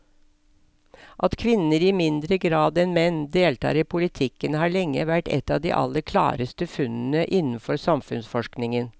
At kvinner i mindre grad enn menn deltar i politikken har lenge vært et av de aller klareste funnene innenfor samfunnsforskningen.